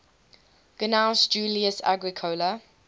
gnaeus julius agricola